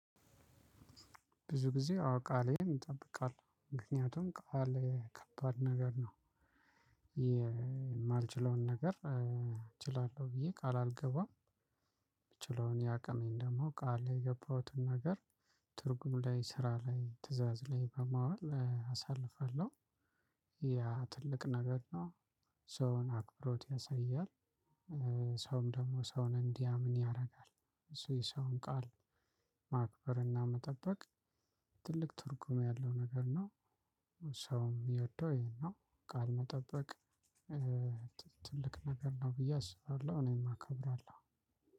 ብዙ ጊዜ አዎ ቃሌን እጠብቃለሁ ምክንያቱም ቃሌ ከባድ ነገር ነው። የማልችለውን ነገር እችላለሁ ብዬ ቃል አልገባም። የምችለውን ያቅሜን ደግሞ ቃል የገባሁትን ነገር ትርጉም ላይ ስራ ላይ ትእዛዝ ላይ በማዋል አሳልፈሃለሁ። ያ ትልቅ ነገር ነው። ሰውን አክብሮት ያሳያል። ሰውም ደግሞ ሰውን እንዲያምን ያደርጋል እሱ የሰውን ቃል ማክበርና መጠበቅ። ትልቅ ትርጉም ያለው ነገር ነው። ሰውም የሚወደው ይሄን ነው ቃል መጠበቅ። ትልቅ ነገር ነው ብዬ አስባለሁ እኔም አከብራለሁ።